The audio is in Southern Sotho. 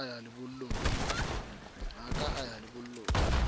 ha a ka ya lebollong